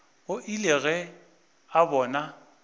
o ile ge a bona